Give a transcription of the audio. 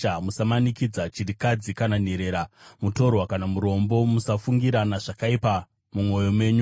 Musamanikidza chirikadzi kana nherera, mutorwa kana murombo. Musafungirana zvakaipa mumwoyo menyu.’